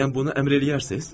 Bəyəm bunu əmr eləyərsiz?